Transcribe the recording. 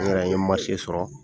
N yɛrɛ n ye sɔrɔ